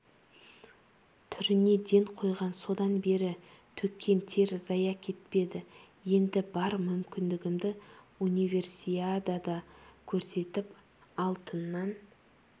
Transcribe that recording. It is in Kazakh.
түріне ден қойған содан бері төккен тер зая кетпеді енді бар мүмкіндігімді универсиадада көрсетіп алтыннан